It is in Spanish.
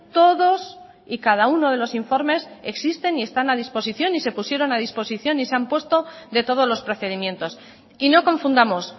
todos y cada uno de los informes existen y están a disposición y se pusieron a disposición y se han puesto de todos los procedimientos y no confundamos